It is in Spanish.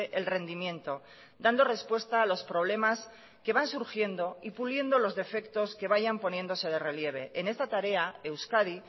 el rendimiento dando respuesta a los problemas que van surgiendo y puliendo los defectos que vayan poniéndose de relieve en esta tarea euskadi